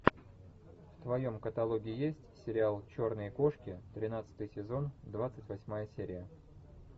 в твоем каталоге есть сериал черные кошки тринадцатый сезон двадцать восьмая серия